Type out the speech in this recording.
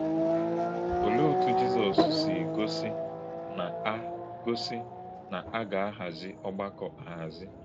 Olè̄e òtú̄ Jizọ́s sị̄ gósí̄ na a gósí̄ na a gà - àhàzì̄ ọ̀gbàkọ̄ àhàzì̄?